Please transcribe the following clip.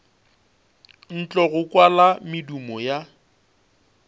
ntle go kwala medumo ya